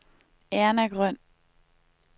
Erna Grøn